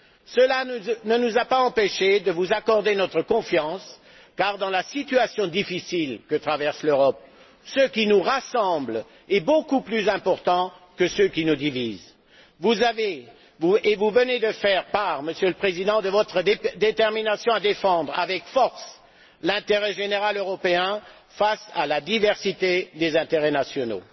Cela ne nous a pas empêchés de vous accorder notre confiance car dans la situation difficile que traverse l'Europe, ce qui nous rassemble est beaucoup plus important que ce qui nous divise. Vous avez, et vous venez d'en faire part, Monsieur le Président, une détermination à défendre avec force l'intérêt général européen face à la diversité des intérêts nationaux.